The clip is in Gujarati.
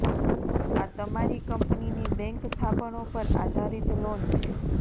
આ તમારી કંપનીની બેંક થાપણો પર આધારિત લોન છે